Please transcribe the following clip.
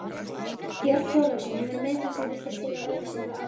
Björn Þorláksson: Hefur miðillinn sem birtir slíka auglýsingu ábyrgð?